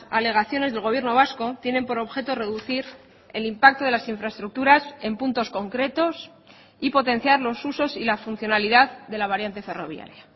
alegaciones del gobierno vasco tienen por objeto reducir el impacto de las infraestructuras en puntos concretos y potenciar los usos y la funcionalidad de la variante ferroviaria